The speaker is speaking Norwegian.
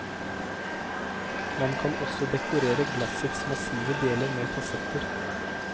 Man kan også dekorere glassets massive deler med fasetter.